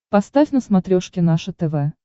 поставь на смотрешке наше тв